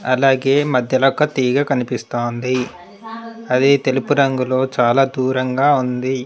అలాగే మధ్యలో ఒక తీగ కనిపిస్తోంది అది తెలుపు రంగులో చాలా దూరంగా ఉంది.